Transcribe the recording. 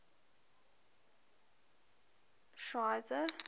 schweizer